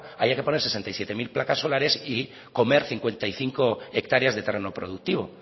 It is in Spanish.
haya que poner sesenta y siete mil placas solares y comer cincuenta y cinco hectáreas de terreno productivo